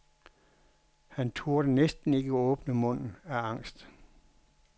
Han turde næsten ikke åbne munden af angst.